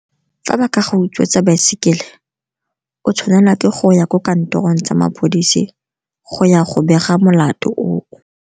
Fa ba ka ga utswetsa baesekele, o tshwanela ke go ya ko kantorong tsa maphodisi go ya go bega molato o o.